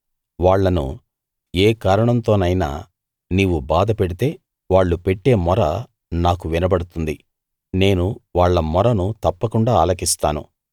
వాళ్ళను ఏ కారణంతోనైనా నీవు బాధ పెడితే వాళ్ళు పెట్టే మొర నాకు వినబడుతుంది నేను వాళ్ళ మొరను తప్పకుండా ఆలకిస్తాను